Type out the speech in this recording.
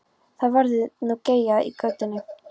Þá verður nú geyjað í götunni.